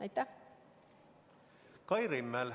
Kai Rimmel, palun!